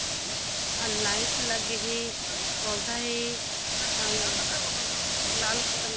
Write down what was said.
light लगे हे पौधा हे अउ ]